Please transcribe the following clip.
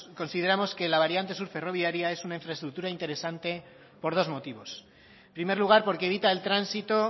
consideramos que la variante sur ferroviaria es una infraestructura interesante por dos motivos en primer lugar porque evita el tránsito